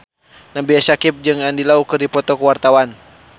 Nabila Syakieb jeung Andy Lau keur dipoto ku wartawan